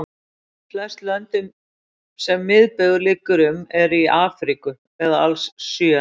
Flest lönd sem miðbaugur liggur um eru í Afríku eða alls sjö.